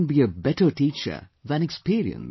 And, who can be a better teacher than experience